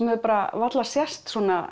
hafði bara varla sést sú